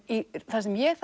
það sem ég